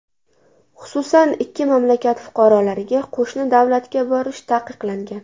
Xususan, ikki mamlakat fuqarolariga qo‘shni davlatga borish taqiqlangan.